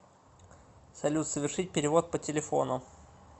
салют совершить перевод по телефону